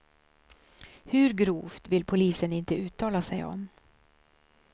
Hur grovt vill polisen inte uttala sig om.